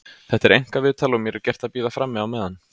Þetta er einkaviðtal og mér er gert að bíða frammi á meðan.